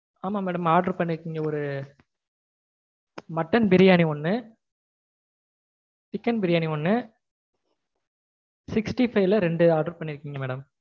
ஆமா madam order பண்ணிருக்கீங்க. ஒரு mutton பிரியாணி ஒன்னு, chicken பிரியானி ஒன்னு, sixty five ல ரெண்டு order பண்ணிருக்கீங்க madam